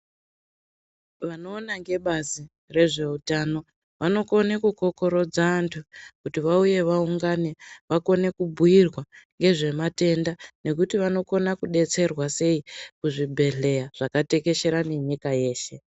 Vanoona ngebazi rezveutano vanokone kukurudza anthu kuti vauye vaungane vakone kubhuirwa ngezvematenda ngekuti vanokona kudetserwa sei kuzvibhedhleya zvakatekeshera nenyika yeshe.